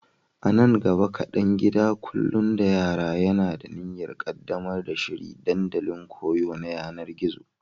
A nan gaba kaɗan, gidan kula da yara yana da niyyar ƙaddamar da shiri dandalin koyo na yanar gizo.